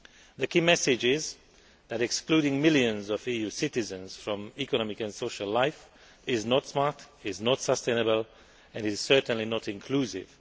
The key message is that excluding millions of EU citizens from economic and social life is not smart, is not sustainable and is certainly not inclusive.